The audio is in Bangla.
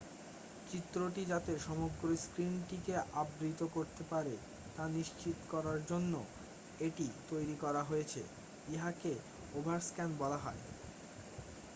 চিত্রটি যাতে সমগ্র স্ক্রিনটিকে আবৃত করতে পারে তা নিশ্চিৎ করার জন্য এটি তৈরি করা হয়েছে ইহাকে ওভারস্ক্যান বলা হয়